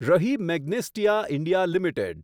રહી Magnesita India limited